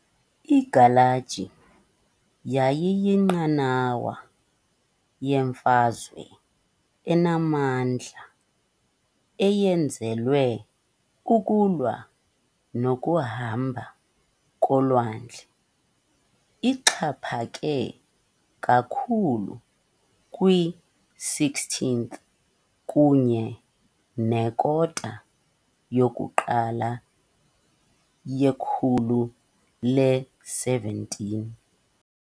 Igalaji yayiyinqanawa yemfazwe enamandla, eyenzelwe kukulwa nokuhamba kolwandle, ixhaphake kakhulu kwi-16th kunye nekota yokuqala yekhulu le-17.